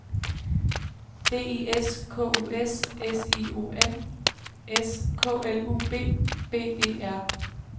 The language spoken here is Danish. D I S K U S S I O N S K L U B B E R